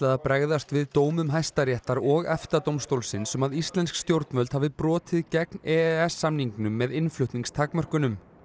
að bregðast við dómum Hæstaréttar og EFTA dómstólsins um að íslensk stjórnvöld hafi brotið gegn e e s samningnum með innflutningstakmörkunum